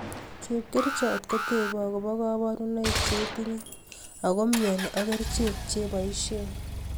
Chepkerichot kotebe akoba kabrunoik chetinye ago myoni ak kerichek cheboisien